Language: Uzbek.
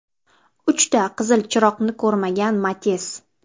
Uchta qizil chiroqni ko‘rmagan Matiz.